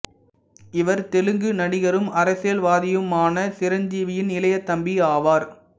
இவர் தெலுங்கு நடிகரும் அரசியல்வாதியுமான சிரஞ்சீவியின் இளைய தம்பி ஆவார்